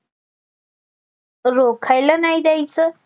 रोखायला नाही देयचं